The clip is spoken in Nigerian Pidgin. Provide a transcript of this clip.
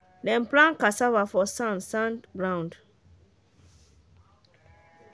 dem plant cassava for sand sand ground